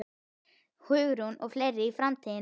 Hugrún: Og fleiri í framtíðinni?